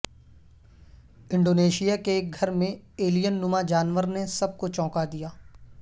Indonesia کے ایک گھر میں ایلین نما جانور نے سب کو چونکا دیا